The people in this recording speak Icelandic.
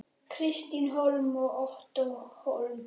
Kristín Hólm og Ottó Hólm.